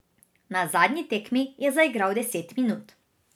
Na zadnji tekmi je zaigral deset minut.